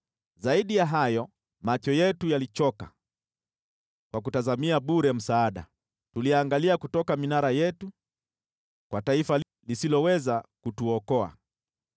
Zaidi ya hayo, macho yetu yalichoka, kwa kutazamia bure msaada; tuliangalia kutoka minara yetu kwa taifa lisiloweza kutuokoa.